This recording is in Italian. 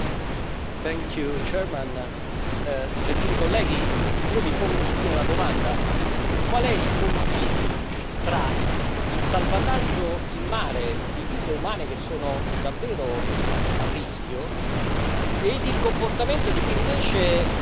Signor Presidente, onorevoli colleghi, io vi pongo subito una domanda qual è il confine tra il salvataggio in mare di vite umane che sono davvero a rischio ed il comportamento di chi invece